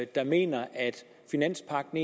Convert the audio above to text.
der mener at finanspagten